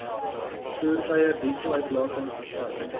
voertuie dieseluitlatings bevat